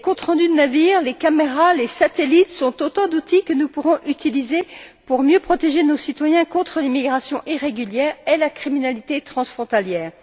Les comptes rendus de navires, les caméras et les satellites sont autant d'outils que nous pourrons utiliser pour mieux protéger nos citoyens contre l'immigration irrégulière et la criminalité transfrontalière.